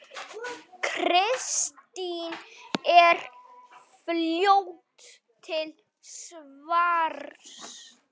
Kristín er fljót til svars.